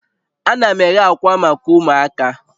Ana m eghe akwa maka ụmụaka